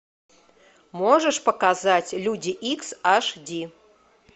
можешь показать люди икс аш ди